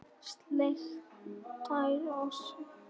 Sleikt tær og slefað.